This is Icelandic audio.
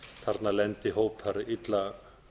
þarna lendi hópar illa